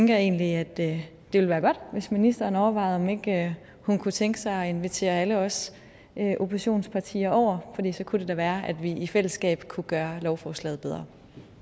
jeg egentlig at det ville være godt hvis ministeren overvejede om ikke hun kunne tænke sig at invitere alle os oppositionspartier over fordi så kunne det da være at vi i fællesskab kunne gøre lovforslaget bedre